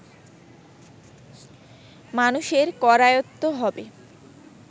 মানুষের করায়ত্ত হবে